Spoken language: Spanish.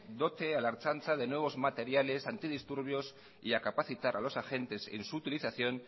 dote a la ertzaintza de nuevos materiales antidisturbios y a capacitar a los agentes en su utilización